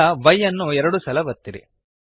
ಈಗ Y ಅನ್ನು ಎರಡು ಸಲ ಒತ್ತಿರಿ